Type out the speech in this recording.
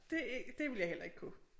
Det det ville jeg heller ikke kunne